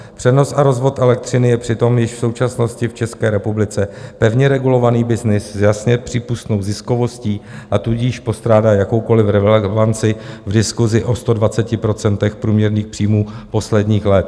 Přenos a rozvod elektřiny je přitom již v současnosti v České republice pevně regulovaný byznys s jasně přípustnou ziskovostí, a tudíž postrádá jakoukoliv relevanci v diskusi o 120 % průměrných příjmů posledních let.